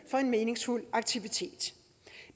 er en meningsfuld aktivitet